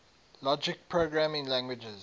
logic programming languages